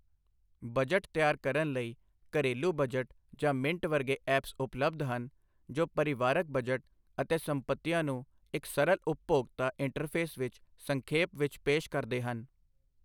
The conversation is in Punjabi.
ਬਜਟ ਤਿਆਰ ਕਰਨ ਲਈ, ਘਰੇਲੂਬਜਟ ਜਾਂ ਮਿੰਟ ਵਰਗੇ ਐਪਸ ਉਪਲਬਧ ਹਨ, ਜੋ ਪਰਿਵਾਰਕ ਬਜਟ ਅਤੇ ਸੰਪਤੀਆਂ ਨੂੰ ਇੱਕ ਸਰਲ ਉਪਭੋਗਤਾ ਇੰਟਰਫੇਸ ਵਿੱਚ ਸੰਖੇਪ ਵਿੱਚ ਪੇਸ਼ ਕਰਦੇ ਹਨ।